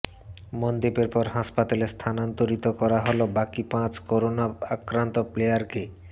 মনদীপের পর হাসপাতালে স্থানান্তরিত করা হল বাকি পাঁচ করোনা আক্রান্ত প্লেয়ারকে